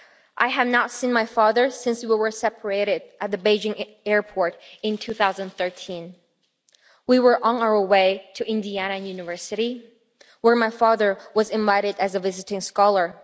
I have not seen my father since we were separated at the Beijing airport in 2013 we were on our way to Indiana University, where my father was invited as a visiting scholar.